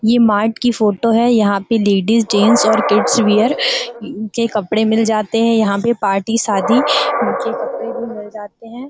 ये मार्ट की फोटो है। यहाँ पे लेडीज जेंट्स और किड्स वियर के कपडे मिल जाते हैं। यहाँ पे पार्टी शादी के कपडे भी मिल जाते हैं।